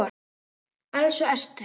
Elsku Ester.